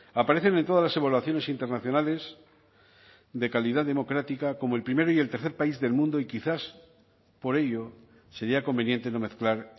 aparecen en todas las evaluaciones internacionales de calidad democrática como el primero y el tercer país del mundo y quizás por ello sería conveniente no mezclar